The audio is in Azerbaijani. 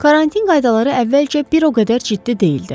Karantin qaydaları əvvəlcə bir o qədər ciddi deyildi.